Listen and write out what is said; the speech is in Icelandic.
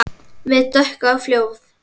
Hið dökka fljóð.